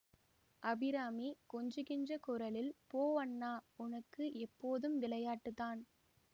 அபிராமி கொஞ்சுகின்ற குரலில் போ அண்ணா உனக்கு எப்போதும் விளையாட்டுத்தான்